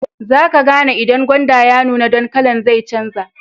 Zaka gane idan gwanda ya nuna, dan kala'n zai canja.